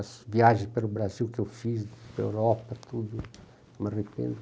As viagens pelo Brasil que eu fiz, pela Europa, tudo, não me arrependo.